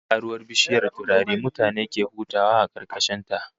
Wata karuwar bishiyar turare mutane ke hutawa a karkashin ta